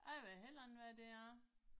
Jeg ved heller ikke hvad det er